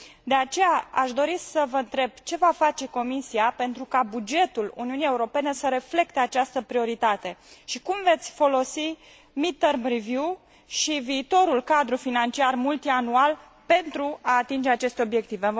De aceea aș dori să vă întreb ce va face Comisia pentru ca bugetul Uniunii Europene să reflecte această prioritate și cum veți folosi mid term review și viitorul cadru financiar multianual pentru a atinge aceste obiective.